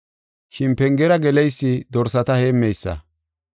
Shin pengera geleysi dorsata heemmeysa.